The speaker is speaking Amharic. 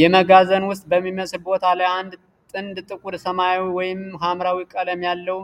የመጋዘን ውስጥ በሚመስል ቦታ ላይ አንድ ጥንድ ጥቁር ሰማያዊ ወይም ሐምራዊ ቀለም ያለው፣